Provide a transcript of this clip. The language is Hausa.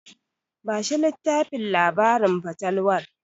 Bashi littafin labarin fatalwar.